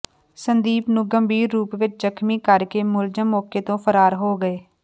ਸੰਦੀਪ ਨੂੰ ਗੰਭੀਰ ਰੂਪ ਵਿੱਚ ਜਖ਼ਮੀ ਕਰ ਕੇ ਮੁਲਜ਼ਮ ਮੌਕੇ ਤੋਂ ਫ਼ਰਾਰ ਹੋ ਗਏ